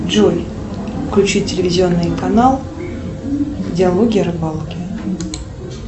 джой включи телевизионный канал диалоги о рыбалке